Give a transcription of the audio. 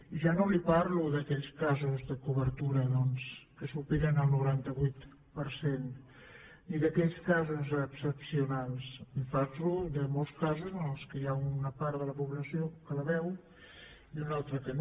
i ja no li parlo d’aquells casos de cobertura doncs que superen el noranta vuit per cent ni d’aquells casos excepcionals li parlo de molts casos en els quals hi ha una part de la població que la veu i una altra que no